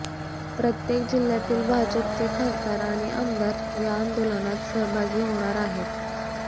प्रत्येक जिल्ह्यातील भाजपचे खासदार आणि आमदार या आंदोलनात सहभागी होणार आहेत